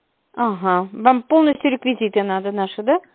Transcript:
ага вам полностью реквизиты надо наши